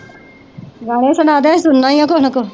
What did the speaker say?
ਗਾਣੇ ਸਨਾਦੇ ਸੁਨਨਾ ਹੀ ਆ ਕੁਜ ਨਾ ਕੁਜ